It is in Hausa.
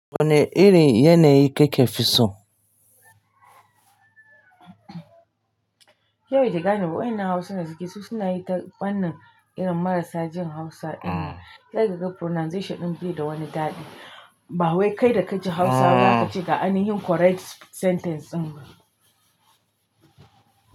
Wane irin yanayi kake fi so? Ke baki gane ba wa'ennan Hausa da suke so, suna yin ta wannan irin marasa jin Hausa. Sai ka ga pronunciation ɗin bi da wani daɗi. Bahawai kai da kaji Hausa, zaka kace ga aini hin correct sentence ɗin ba.